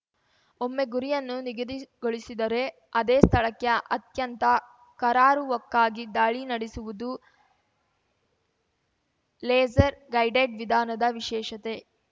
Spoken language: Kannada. ಒಮ್ಮೆ ಗುರಿಯನ್ನು ನಿಗದಿಗೊಳಿಸಿದರೆ ಅದೇ ಸ್ಥಳಕ್ಕೆ ಅತ್ಯಂತ ಕರಾರುವಾಕ್ಕಾಗಿ ದಾಳಿ ನಡೆಸುವುದು ಲೇಸರ್‌ ಗೈಡೆಡ್‌ ವಿಧಾನದ ವಿಶೇಷತೆ